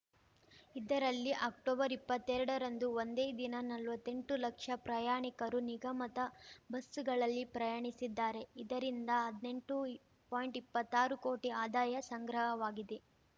ಇದರಲ್ಲಿ ಅಕ್ಟೊಬರ್ಇಪ್ಪತ್ತೆರಡರಂದು ಒಂದೇ ದಿನ ನಲ್ವತ್ತೆಂಟು ಲಕ್ಷ ಪ್ರಯಾಣಿಕರು ನಿಗಮದ ಬಸ್ಸುಗಳಲ್ಲಿ ಪ್ರಯಾಣಿಸಿದ್ದಾರೆ ಇದರಿಂದ ಹದ್ನೆಂಟು ಪಾಯಿಂಟ್ಇಪ್ಪತ್ತಾರು ಕೋಟಿ ಆದಾಯ ಸಂಗ್ರಹವಾಗಿದೆ